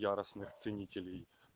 ценителей